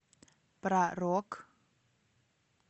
про рок